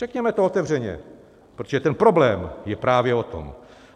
Řekněme to otevřeně, protože ten problém je právě o tom.